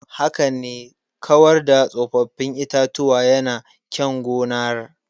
Haka ne, kawar da tsofaffin itatuwa yana kyan gonar.